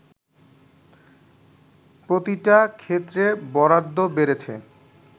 “প্রতিটা ক্ষেত্রে বরাদ্ধ বেড়েছে